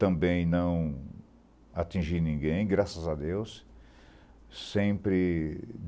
Também não atingi ninguém, graças a Deus. Sempre